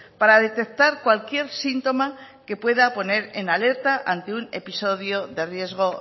para detectar cualquier síntoma que pueda poner en alerta ante un episodio de riesgo